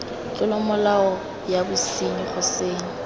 tlolomolao ya bosenyi go senya